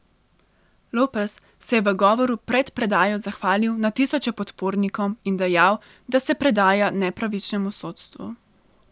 Lopez se je v govoru pred predajo zahvalil na tisoče podpornikom in dejal, da se predaja nepravičnemu sodstvu.